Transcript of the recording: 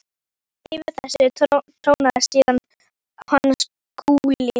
Yfir þessu trónaði síðan hann Skúli.